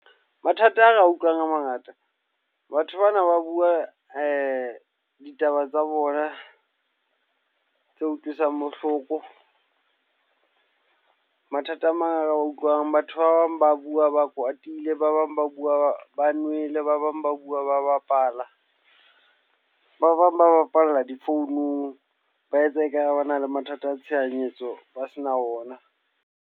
Mathata ao re a utlwang a mangata. Batho bana ba bua ditaba tsa bona, tse utlwisang bohloko. Mathata a mang a re a utlwang. Batho ba bang ba bua ba kwatile, ba bang ba bua ba nwele, ba bang ba bua ba bapala. Ba bang ba bapalla difounung, ba etsa ekare re na le mathata a tshohanyetso ba sena ona.